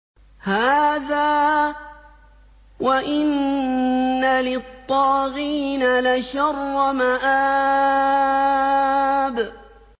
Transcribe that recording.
هَٰذَا ۚ وَإِنَّ لِلطَّاغِينَ لَشَرَّ مَآبٍ